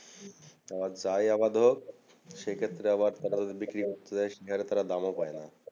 আবার যায় আবাদ হোক সে ক্ষেত্র আবার তারা বিক্রি করতে যায় সেকানে তারা দামও পাই না